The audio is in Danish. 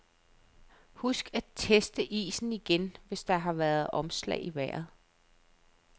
Husk at teste isen igen, hvis der har været omslag i vejret.